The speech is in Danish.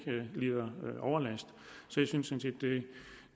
lider overlast